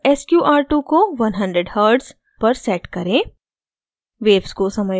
plot window पर sqr2 को 100 hz पर set करें